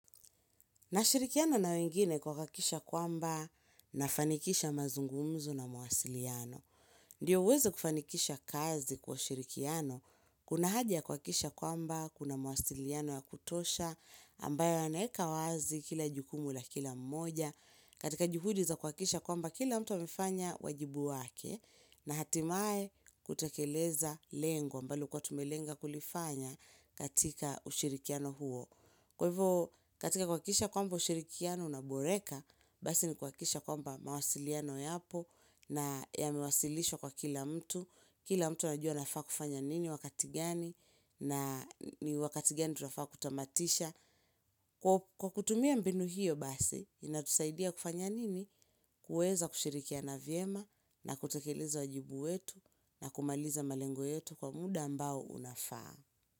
Nashirikiana na wengine kuhakisha kwamba nafanikisha mazungumzo na mwasiliano. Ndiyo uweze kufanikisha kazi kwa shirikiano. Kuna haja ya kuhakisha kwamba, kuna mawasiliano ya kutosha, ambayo yanaeka wazi kila jukumu la kila mmoja. Katika juhudi za kuhakisha kwamba kila mtu amefanya wajibu wake na hatimae hutekeleza lengo ambalo huwa tumelenga kulifanya katika ushirikiano huo. Kwa hivyo katika kuhakikisha kwamba ushirikiano unaboreka, basi ni kuhakikisha kwamba mawasiliano yapo na yamewasilishwa kwa kila mtu. Kila mtu anajua anafaa kufanya nini wakati gani na ni wakati gani tunafaa kutamatisha. Kwa kutumia mbinu hiyo basi, inatusaidia kufanya nini kuweza kushirikiana vyema na kutekeleza wajibu wetu na kumaliza malengo yetu kwa muda ambao unafaa.